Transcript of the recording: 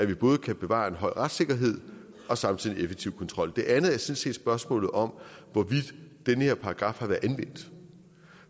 vi både kan bevare en høj retssikkerhed og samtidig en effektiv kontrol det andet er sådan set spørgsmålet om hvorvidt den her paragraf har været anvendt